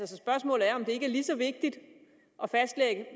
så spørgsmålet er om det ikke er lige så vigtigt at